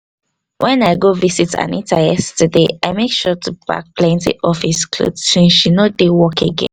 when i go visit anita yesterday i make sure to pack plenty office cloth since she no dey work again